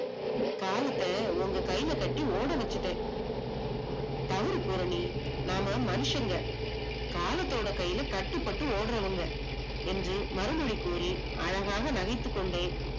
காலத்த உங்க கைலகட்டி ஓடவேச்சுட்ட. தவறு பூரணி நாம மனுஷ்சங்க காலத்தோட கையில கட்டுப்பட்டு ஓடுறவங்க, என்று அறிவுரை கூறி அழகாக நகைத்துக்கொண்டே